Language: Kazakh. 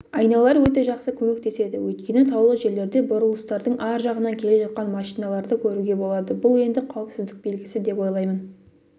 айналар өте жақсы көмектеседі өйткені таулы жерлерде бұрылыстардың ар жағынан келе жатқан машиналарды көруге болады бұл енді қауіпсіздік белгісі деп ойлаймын